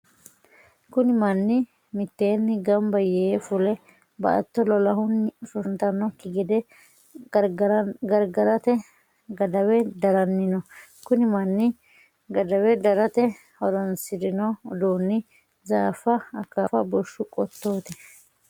Kunni manni miteenni gamba yee fule baatto lolahunni hoshooshantanoki gede gargarate gadawe daranni no. Kunni manni gadawe darate horoonsirino uduunni zaafa, akaafa bushu qotooti.